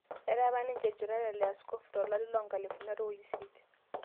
Etaa apa ninche lchoreta le askofu to lari loonkalifuni are o isiet